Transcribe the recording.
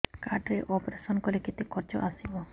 card ରେ operation କଲେ କେତେ ଖର୍ଚ ଆସିବ